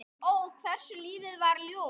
Ó, hversu lífið var ljúft.